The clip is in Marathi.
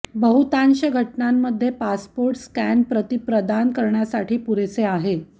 बहुतांश घटनांमध्ये पासपोर्ट स्कॅन प्रती प्रदान करण्यासाठी पुरेसे आहे